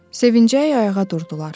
Sevincək ayağa durdular.